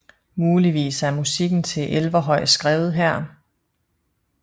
Muligvis er musikken til Elverhøj skrevet her